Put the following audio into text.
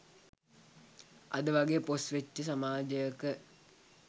අද වගේ පොෂ් වෙච්ච සමාජයක